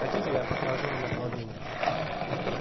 хотите я покажу направление